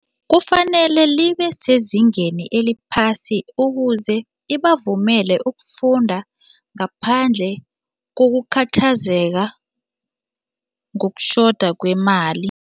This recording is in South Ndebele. Kufanele libesezingeni eliphasi ukuze ibavumele ukufunda ngaphandle kokukhathazeka ngokutjhoda kwemali.